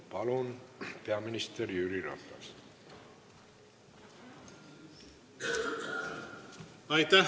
Palun, peaminister Jüri Ratas!